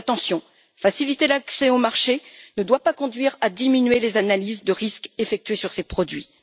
Mais attention faciliter l'accès au marché ne doit pas conduire à diminuer les analyses de risques effectuées sur ces produits.